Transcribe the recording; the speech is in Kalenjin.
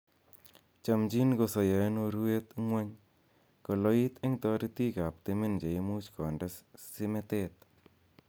Chomchin kosoyo en urwet ngwony, koloit en toritik ab timin cheimuch konde simetet.